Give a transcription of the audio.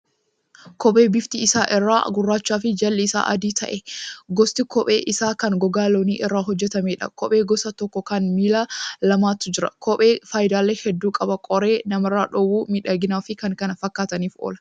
Kophee bifti irra isaa gurraachaa fi jalli isaa adii ta'e. Gosti kophee isaa kan gogaa loonii irraa hojjatameedha. Kophee gosa tokko kan miila lamaatu jira. Kophee faayidaalee hedduu qaba. Qoree namarraa dhoowwuu, miidhaginaafi kan kana fakkaataniif oola.